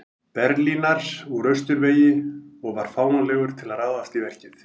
Berlínar úr austurvegi og var fáanlegur til að ráðast í verkið.